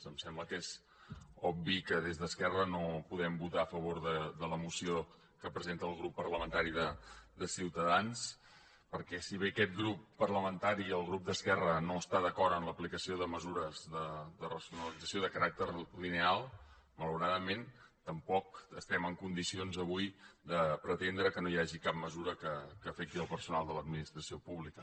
em sembla que és obvi que des d’esquerra no podem votar a favor de la moció que presenta el grup parlamentari de ciuta dans perquè si bé aquest grup parlamentari el grup d’esquerra no està d’acord amb l’aplicació de mesures de racionalització de caràcter lineal malauradament tampoc estem en condicions avui de pretendre que no hi hagi cap mesura que afecti el personal de l’administració pública